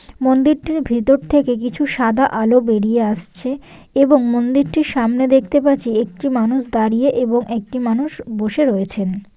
মন্দিরটির ভেতর থেকে কিছু সাদা আলো বেরিয়ে আসছে এবং মন্দিরটি সামনে দেখতে পাচ্ছি একটি মানুষ দাঁড়িয়ে এবং একটি মানুষ বসে রয়েছেন।